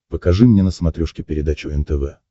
покажи мне на смотрешке передачу нтв